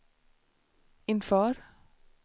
inför